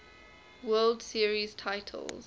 world series titles